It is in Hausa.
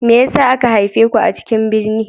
Me yasa aka haife ku a cikin birni?